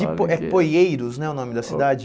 De é Poieiros né o nome da cidade?